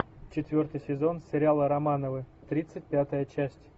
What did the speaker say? четвертый сезон сериала романовы тридцать пятая часть